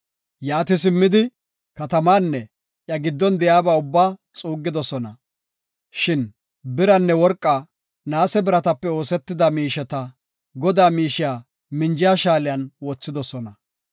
Yaati simmidi katamaanne iya giddon de7iyaba ubbaa xuuggidosona. Shin biranne worqaa, naase biratape oosetida miisheta Godaa miishiya minjiya shaaliyan wothidosona.